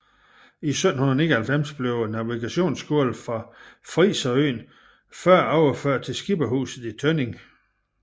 I 1799 blev navigationsskolen fra friserøen Før overført til Skipperhuset i Tønning